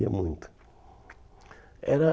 Ia muito. Era